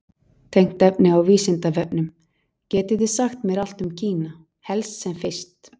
Tengt efni á Vísindavefnum: Getið þið sagt mér allt um Kína, helst sem fyrst?